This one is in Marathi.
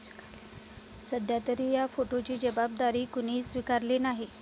सध्यातरी या स्फोटाची जबाबदारी कोणीही स्वीकारलेली नाही.